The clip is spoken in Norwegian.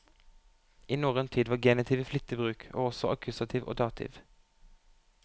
I norrøn tid var genitiv i flittig bruk, og også akkusativ og dativ.